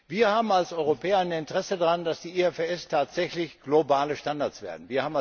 Wir haben als Europäer ein Interesse daran, dass die IFRS tatsächlich globale Standards werden.